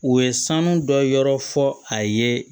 U ye sanu dɔ yɔrɔ fɔ a ye